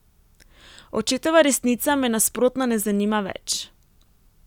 Očetova resnica me nasprotno ne zanima več.